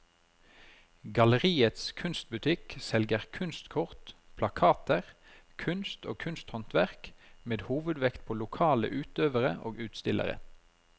Galleriets kunstbutikk selger kunstkort, plakater, kunst og kunsthåndverk med hovedvekt på lokale utøvere og utstillere.